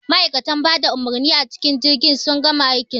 Ma'aikan bada umurmi a cikin jirgi sun gama aikin su